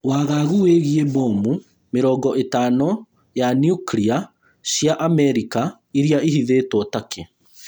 Wagagu wĩĩgiĩ bomu mĩrongo ĩtano ya niukria cia amerika iria ihithĩtwo Turkey